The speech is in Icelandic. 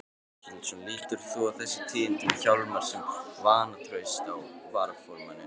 Páll Ketilsson: Lítur þú á þessi tíðindi með Hjálmar sem vantraust á varaformanninn?